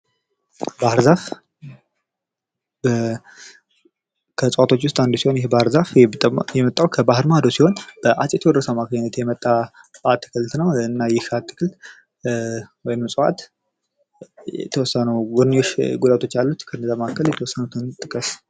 ባህር ዛፍ ከእፅዋቶች መካከል አንዱ ሲሆን የመጣዉ ከባህር ማዶ ሲሆን በአፄ ቴዎድሮስ የመጣ አትክልት ነው። ይህ እፅዋት የተወሰኑ የጎንዮሽ ጉዳቶች አሉት። ከነዚህም መካከል ጥቂቶችን ጥቅስ?